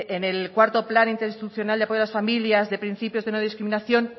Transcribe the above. de en el cuarto plan interinstitucional de apoyo a las familias de principios de no discriminación